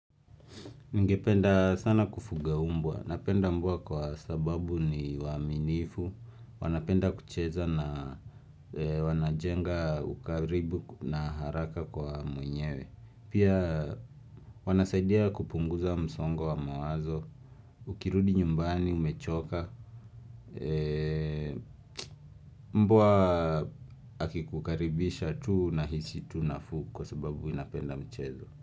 Ningependa sana kufuga umbwa napenda mbwa kwa sababu ni waaminifu wanapenda kucheza na wanajenga ukaribu na haraka kwa mwenyewe pia wanasaidia kupunguza msongo wa mawazo ukirudi nyumbani umechoka mbwa akikukaribisha tu nahisi tu nafuu kwa sababu inapenda michezo.